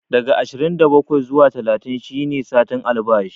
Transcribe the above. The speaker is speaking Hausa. Daga ashirin da bakwai zuwa talatin shi ne satin albashi